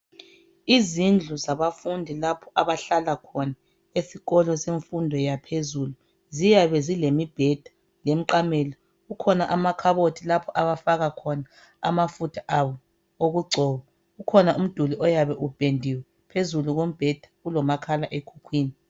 Izindlu zabafundi lapha abahlala khona esikolo semfundo yaphezulu. Ziyabe zilemibheda lemiqamelo. Kukhona amakhabothi lapho abafaka khona amafutha abo okugcoba. Kukhona umduli oyabe upendiwe, phezulu kombheda kulomakhala ekhukhwini.